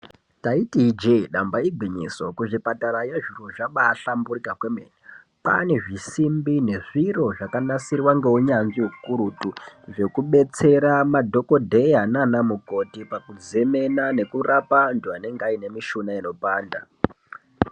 Taiti ijee damba igwinyiso kuzvipatarayo zviro zvabaahlamburika kwemene kwaane zvisimbi nezviro zvakanasirwa ngeunyanzvi ukurutu zvekubetsera madhokodheya nanamukoti pakuzemena nekurapa antu anenge aine mishuna inopanda.